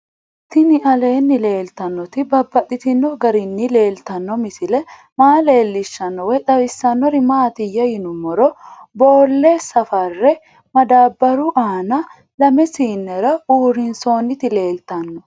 Tinni aleenni leelittannotti babaxxittinno garinni leelittanno misile maa leelishshanno woy xawisannori maattiya yinummoro boolle safarre madaabaru aanna lame siinera urinsoonitti leelittanno